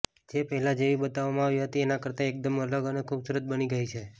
જે પહેલા જેવી બતાવવામાં આવી હતી એના કરતા એકદમ અલગ અને ખુબસુરત બની ગઈ છે